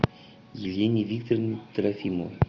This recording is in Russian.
елене викторовне трофимовой